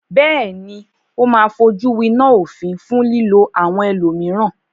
Bẹ́ẹ̀ní, ó máa fojúwiná òfin fún lílo àwọn ẹlòmíràn.